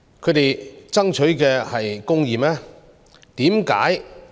他們爭取的是公義嗎？